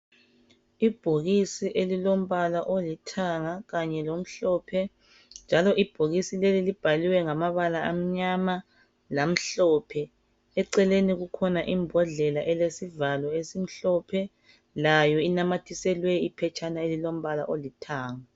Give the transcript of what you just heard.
Ibhokisi elilombala olithanga kanye lomhlophe njalo ibhokisi leli libhaliwe ngamabala amnyama lamhlophe. Eceleni kukhona imbodlela elesivalo esimhlophe. Layo inamathiselwe iphetshana elilombala olithanga.